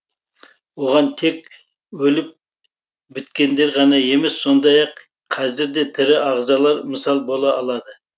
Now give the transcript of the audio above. оған тек өліп біткендер ғана емес сондай ақ қазір де тірі ағзалар мысал бола алады